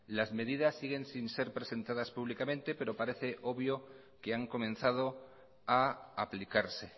las medidas siguen sin ser presentadas públicamente pero parece obvio que han comenzado a aplicarse